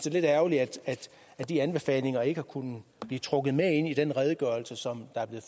er lidt ærgerligt at de anbefalinger ikke har kunnet blive trukket med ind i den redegørelse som er